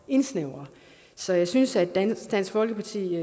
indsnævre så jeg synes at dansk dansk folkeparti i